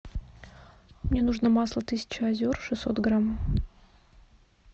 мне нужно масло тысяча озер шестьсот грамм